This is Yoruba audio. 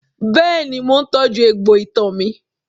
Bẹ́ẹ̀ni, mo tọ́jú egbò itan mi.